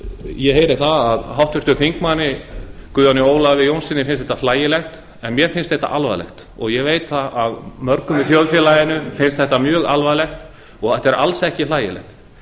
ég heyri það að háttvirtur þingmaður guðjóni ólafi jónssyni finnst þetta hlægilegt en mér finnst þetta alvarlegt ég veit að mörgum í þjóðfélaginu finnst þetta mjög alvarlegt og þetta er alls ekki hlægilegt